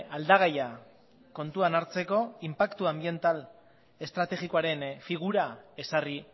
aldagaia kontuan hartzeko inpaktu anbiental estrategikoaren figura ezarri